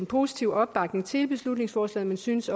positiv opbakning til beslutningsforslaget men synes